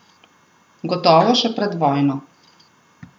Gotovo še pred vojno.